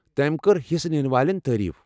تٔمۍ کٔرِ حصہٕ ننہٕ والٮ۪ن تعریٖف۔